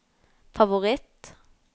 favoritt